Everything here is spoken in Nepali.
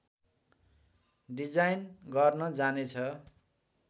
डिजाइन गर्न जाने छ